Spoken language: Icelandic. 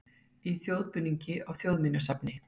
Í þjóðbúningi á Þjóðminjasafni